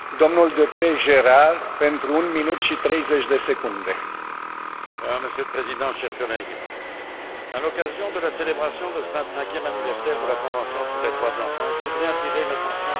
Monsieur le Président, chers collègues, à l'occasion de la célébration de ce vingt cinquième anniversaire de la Convention des Nations unies relative aux droits de l'enfant, je voudrais attirer l'attention de notre Assemblée sur une préoccupation qui me semble essentielle mais fort négligée.